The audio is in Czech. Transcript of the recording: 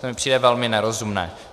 To mi přijde velmi nerozumné.